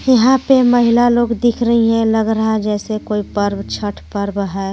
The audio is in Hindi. यहां पे महिला लोग दिख रही है लग रहा है जैसे कोई पार्व छठ पार्व हैं.